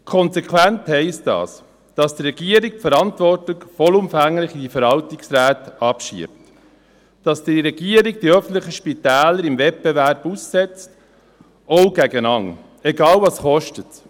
In der Konsequenz heisst das, dass die Regierung die Verantwortung vollumfänglich auf die Verwaltungsräte abschiebt, dass die Regierung die öffentlichen Spitäler dem Wettbewerb aussetzt, auch gegen einander, egal, was es kostet.